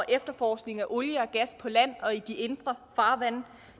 efterforskning af olie og gas på land og i de indre farvande